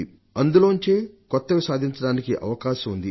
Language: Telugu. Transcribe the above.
అందులో నుండే కొత్తవి సాధించడానికి అవకాశం ఉంది